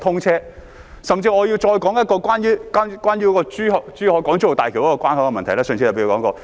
我甚至要再說一個關於港珠澳大橋的關口問題，上次我也提過。